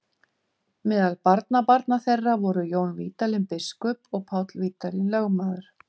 Meðal barnabarna þeirra voru Jón Vídalín biskup og Páll Vídalín lögmaður.